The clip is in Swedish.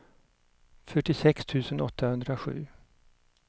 fyrtiosex tusen åttahundrasju